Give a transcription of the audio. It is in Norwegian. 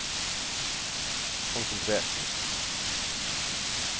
konsentrert